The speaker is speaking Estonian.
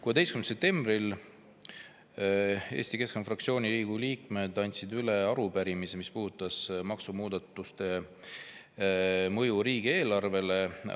16. septembril andsid Riigikogu Eesti Keskerakonna fraktsiooni liikmed üle arupärimise, mis puudutab maksumuudatuste mõju riigieelarvele.